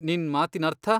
ನಿನ್ ಮಾತಿನರ್ಥ?